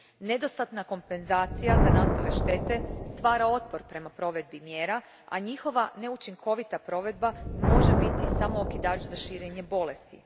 Nedostatna kompenzacija za nastale štete stvara otpor prema provedbi mjera, a njihova neučinkovita provedba može biti samo okidač za širenje bolesti.